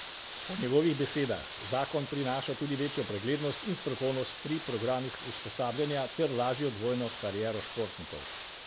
Po njegovih besedah zakon prinaša tudi večjo preglednost in strokovnost pri programih usposabljanja ter lažjo dvojno kariero športnikov.